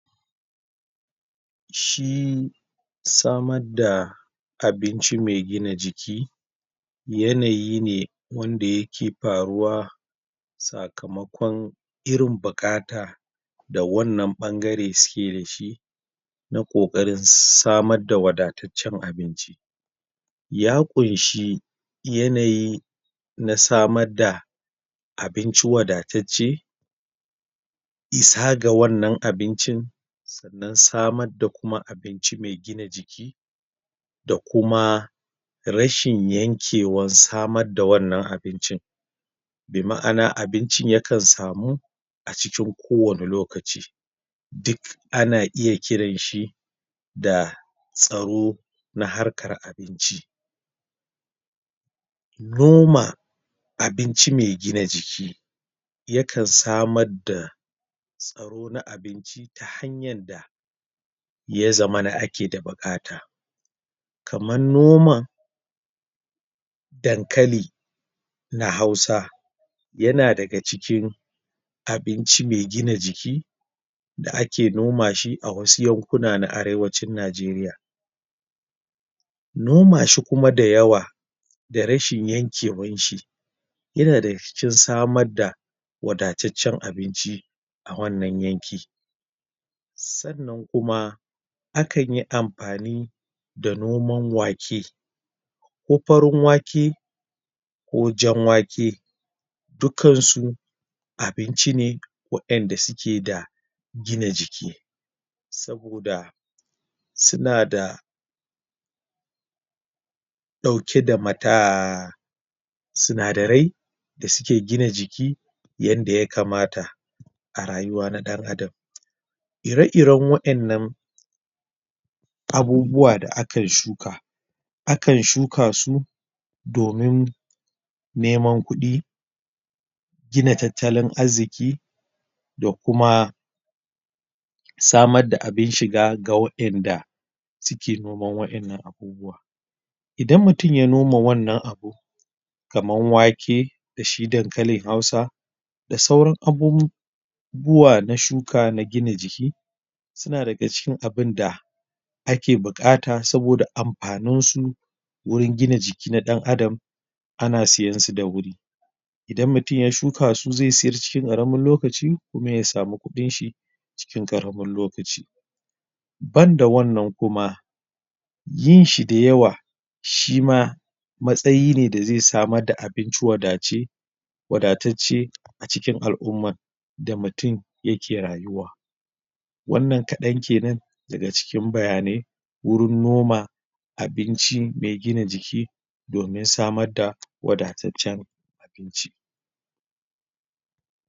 Shi samar da abinci me gina jiki yanayi ne, wanda ya ke paruwa sakamakon irin bukata da wannan ɓangare su ke da shi na koƙarin samar da wadatacen abinci ya kunshi yanayi na samar da abinci wadatacen issa ga wannan abincin sannan samar da kuma abinci me gina jiki da kuma rashin yankewan samar da wannan abincin be maana abincin ya kan samu acikin ko wani lokaci duk a na iya kiran shi da tsaro na harkar abinci. Noma abinci me gina jiki ya kan samar da tsaro na abinci ta hanyar da ya zamana a ke da bukata kaman noman dankali na hausa ya na da ga cikin abinci me gina jiki da a ke noma shi a wasu yakuna na arewancin Najeriya noma shi kuma dayawa da rashin yankewan shi yana na da rikicin samar da wadatacen abinci a wannan yanki. Sannan kuma a kan yi amfani da noman wake ko farin wake ko jan wake dukkan su abinci ne waenda su ke da gina jiki saboda su na da dauke da sunadari da su ke gina jiki yanda ya kamata a rayuwa na dan adam ire-iren waennan abubuwa da akan shuka a kan shuka su domin neman kudi gina tatalan arziki da kuma samar da abin shiga ga waenda su ke noman waennan abubuwa idan mutum ya noma wannan abu kaman wake, da shi dankalin hausa da sauran abunbuwa na shuka na gina jiki su na da ga cikin abunda a ke bukata saboda amfanin su wurin gina jiki na dan adam a na siyan su da wuri idan mutum ya shuka su, ze tsira cikin karamin lokaci kuma ya samu kudin shi cikin karamin lokaci banda wannan kuma yin si dayawa, shi ma matsayi ne da ze samar da abinci wadace wadatace acikin alumma da mutum ya ke rayuwa wannan kadan kenan da ga cikin bayane wurin noma abinci me gina jiki domin samar da wadatacen abinci.